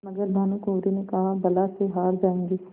मगर भानकुँवरि ने कहाबला से हार जाऍंगे